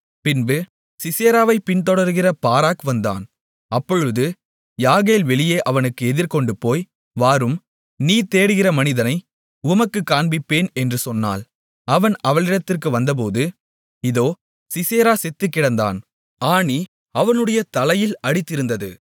பின்பு சிசெராவை பின்தொடருகிற பாராக் வந்தான் அப்பொழுது யாகேல் வெளியே அவனுக்கு எதிர்கொண்டுபோய் வாரும் நீ தேடுகிற மனிதனை உமக்குக் காண்பிப்பேன் என்று சொன்னாள் அவன் அவளிடத்திற்கு வந்தபோது இதோ சிசெரா செத்துக்கிடந்தான் ஆணி அவனுடைய தலையில் அடித்திருந்தது